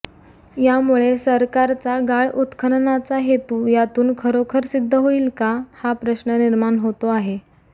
यामुळे सरकारचा गाळ उत्खननाचा हेतू यातून खरोखर सिद्ध होईल का हा प्रश्न निर्माण होतो आहे